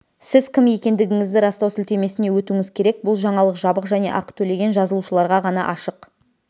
сіз кім екендігіңізді растау сілтемесіне өтуіңіз керек бұл жаңалық жабық және ақы төлеген жазылушыларға ғана ашық